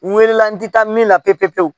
N wele la n ti taa min na pewu pewu pewu